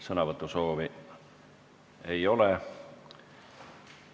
Sõnavõtusoove ei ole.